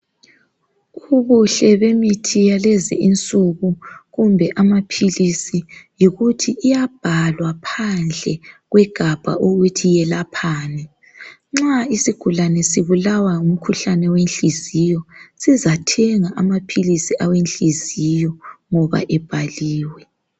ubuhle bemithi yakulezi insuku kumbe amaphilisi yikuthi iyabhalwa phandle kwegabha ukuthi yelaphani ,nxa isigulane sibulawa ngumkhuhlane wenhliziyo sizathenga amaphilisi awenhliziyo ngoba ebhaliwe